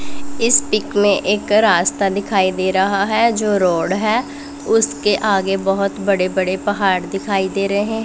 इस पिक में एक का रास्ता दिखाई दे रहा हैं जो रोड हैं उसके आगे बहोत बड़े बड़े पहाड़ दिखाई दे रहे हैं।